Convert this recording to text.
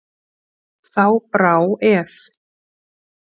Þá brá ef.